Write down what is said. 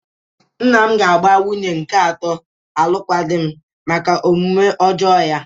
Nna m ga-agba nwunye nke atọ alụkwaghịm maka omume ọjọọ ya.